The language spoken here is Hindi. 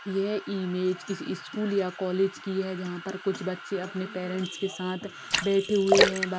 ये इमेज किसी स्कूल या कॉलेज की है जहाँ पर कुछ बच्चे अपने पैरेंस के साथ बैठे हुए है।